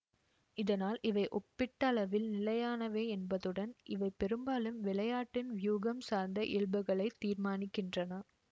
இதனால் இவை ஒப்பீட்டளவில் நிலையானவை என்பதுடன் இவை பெரும்பாலும் விளையாட்டின் வியூகம் சார்ந்த இயல்புகளைத் தீர்மானிக்கின்றன